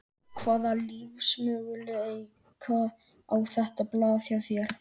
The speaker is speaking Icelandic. Hvaða lífsmöguleika á þetta blað hjá þér?